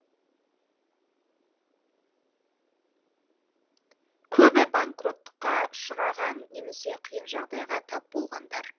көбі банкротқа ұшыраған немесе қиын жағдайға тап болғандар